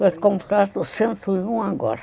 Eu completo cento e um agora.